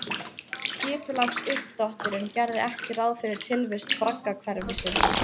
Skipulagsuppdrátturinn gerði ekki ráð fyrir tilvist braggahverfisins